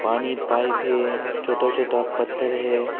पानी पाइप है छोटा छोटा पत्थर है।